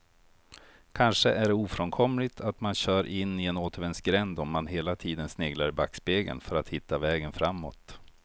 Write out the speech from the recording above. Kanske är det ofrånkomligt att man kör in i en återvändsgränd om man hela tiden sneglar i backspegeln för att hitta vägen framåt.